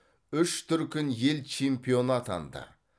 үш дүркін ел чемпионы атанды